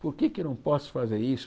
Por que é que eu não posso fazer isso?